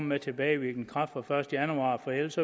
med tilbagevirkende kraft fra den første januar for ellers